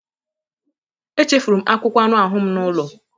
Echefuru m akwụkwọ anụ ahụ m n'ụlọ